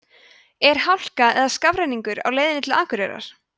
er hálka eða skafrenningur á leiðinni til akureyrar